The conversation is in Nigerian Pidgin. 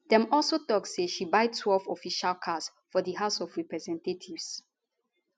dem also tok say she buy12 official cars for di house of representatives